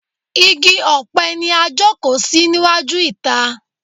Igi ọpẹ ni a jókòó sí níwájú ìta.